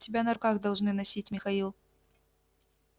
тебя на руках должны носить михаил